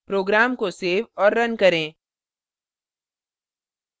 program को save और run करें